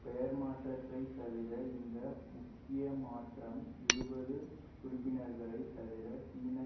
பெயர் மாற்றத்தை தவிர இந்த முக்கியமாற்றம் இருபது உறுப்பினர்களை தவிர சீனா